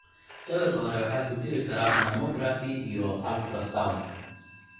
Sawirka hore waxa ku jiri kara mammografi iyo ultrasound.